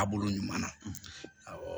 A bolo ɲuman na awɔ